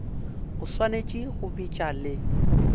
o swanetše go bitša le